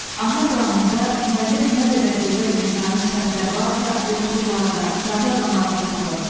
Ana dramında müəllif nə qədər gözəl insani sifətlər varsa yoxsullarda, sadə adamlarda tapır.